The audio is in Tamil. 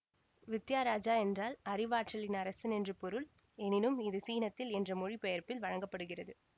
வித்யாராஜா என்றால் அறிவாற்றலின் அரசன் என்று பொருள் எனினும் இது சீனத்தில் என்ற மொழிபெயர்ப்பில் வழங்க படுகிறது